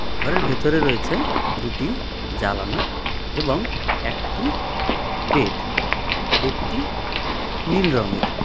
ঘরের ভেতরে রয়েছে দুটি জালানা এবং একটি বেড বেডটি নীল রঙের .